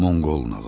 Monqol nağılı.